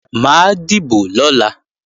Mà á dìbò lọ́la